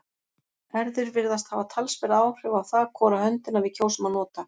erfðir virðast hafa talsverð áhrif á það hvora höndina við kjósum að nota